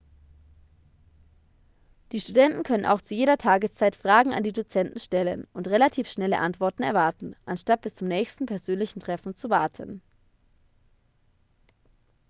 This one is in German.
die studenten können auch zu jeder tageszeit fragen an die dozenten stellen und relativ schnelle antworten erwarten anstatt bis zum nächsten persönlichen treffen zu warten